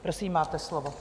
Prosím, máte slovo.